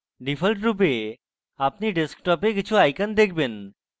ডিফল্টরূপে আপনি ডেস্কটপে কিছু icons দেখবেন